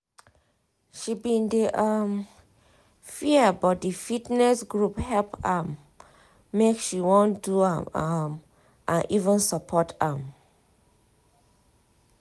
she bin dey um fear but di fitness group help am um make she wan do am um and even support am